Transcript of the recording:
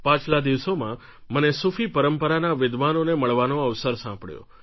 પાછલા દિવસોમાં મને સૂફી પરંપરાના વિદ્વાનોને મળવાનો અવસર સાંપડ્યો